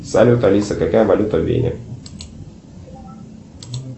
салют алиса какая валюта в вене